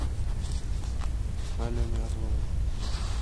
алене орловой